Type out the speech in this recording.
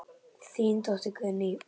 Þín dóttir, Guðný.